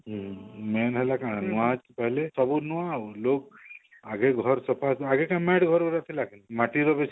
ହଁ main ହେଲା କାଣା ନୂଆ ଚାଉଲ ସବୁ ନୂଆ ଆଉ ଲୁଗ ଆଗେ ଘର ସଫା ଆଗେ କାଣା ଘରେ maid ଥିଲା ମାଟି ଘର ବେଶୀ